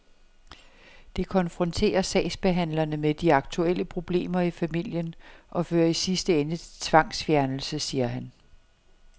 Det konfronterer sagsbehandlerne med de aktuelle problemer i familien og fører i sidste ende til tvangsfjernelse, siger han.